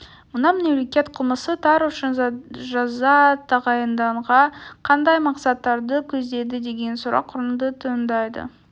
мұнан мемлекет қылмыс тар үшін жаза тағайындағанда қандай мақсаттарды көздейді деген сұрақ орынды туындайды